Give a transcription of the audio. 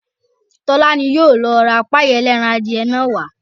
Tọ́lá ni yóò lọ ra páì ẹlẹ́ran adìyẹ náà wá